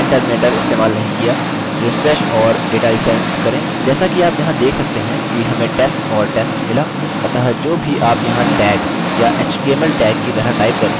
जैसा कि आप यहाँ देख सकते हैं कि हमें test और test मिला अतः जो भी आप यहाँ टैग या html टैग की तरह टाइप करते हैं वह बस खाली रहता है